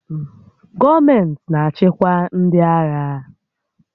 Gọọmentị na-achịkwa ndị agha.